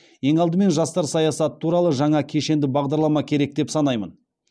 ең алдымен жастар саясаты туралы жаңа кешенді бағдарлама керек деп санаймын